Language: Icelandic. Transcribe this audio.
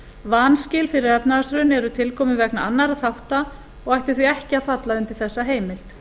vanskil fyrir efnahagshrun eru tilkomin vegna annarra þátta og ættu því ekki að falla undir þessa heimild